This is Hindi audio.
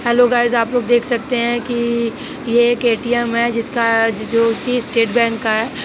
हैलो गाइज आप लोग देख सकते हैं कि ये एक ए_टी_एम है जिसका- जो कि स्टेट बैंक का है।